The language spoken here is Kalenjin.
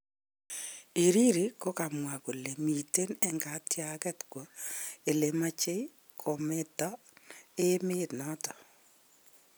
Hariri kokamwa kole miten en katyaket kwa elemache komoten emet naton